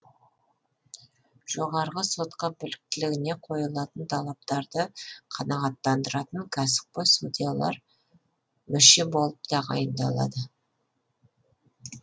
жоғарғы сотқа біліктілігіне қойылатын талаптарды қанағаттандыратын кәсіпқой судьялар мүше болып тағайындалады